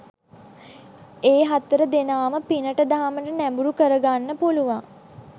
ඒ හතර දෙනාම පිනට දහමට නැඹුරු කරගන්න පුළුවන්